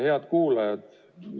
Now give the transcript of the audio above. Head kuulajad!